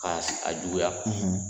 k'a juguya